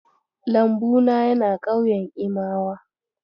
Lambu na yana ƙauyen Imawa.